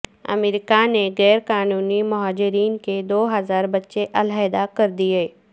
امریکہ نے غیر قانونی مہاجرین کے دو ہزار بچے علیحدہ کر دیے